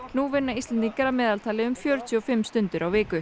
nú vinna Íslendingar að meðaltali fjörutíu og fimm stundir á viku